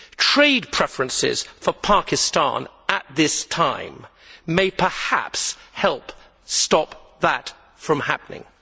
Trade preferences for Pakistan at this time may perhaps help stop that happening.